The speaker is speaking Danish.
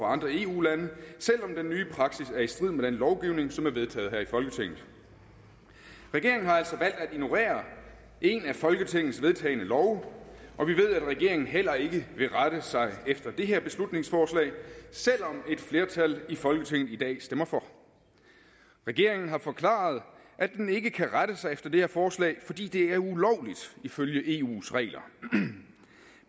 andre eu lande selv om den nye praksis er i strid med den lovgivning som er vedtaget her i folketinget regeringen har altså valgt at ignorere en af folketingets vedtagne love og vi ved at regeringen heller ikke vil rette sig efter det her beslutningsforslag selv om et flertal i folketinget i dag stemmer for regeringen har forklaret at den ikke kan rette sig efter det her forslag fordi det er ulovligt ifølge eus regler